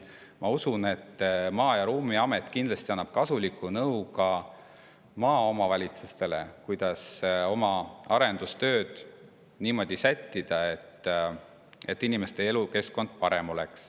Ma usun, et Maa- ja Ruumiamet kindlasti hakkab andma kasulikku nõu ka maaomavalitsustele, kuidas oma arendustööd niimoodi sättida, et inimeste elukeskkond parem oleks.